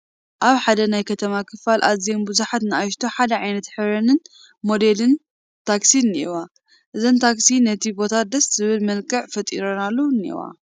ኣብ ሓደ ናይ ከተማ ክፋል ኣዝየን ብዙሓት ናእሽቱ ሓደ ዓይነት ሕብረንን ሞዴለንን ታክሲ እኔዋ፡፡ እዘን ታክሲ ነቲ ቦታ ደስ ዝብል መልክዕ ፈጢረናሉ እኔዋ፡፡